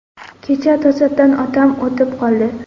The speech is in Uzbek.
Kecha to‘satdan otam o‘tib qoldi.